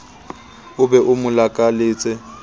o be o mo lakaletse